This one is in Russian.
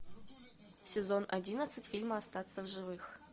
сезон одиннадцать фильма остаться в живых